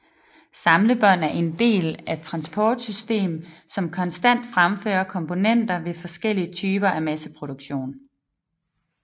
Samlebånd er en del af et transportsystem som konstant fremfører komponenter ved forskellige typer af masseproduktion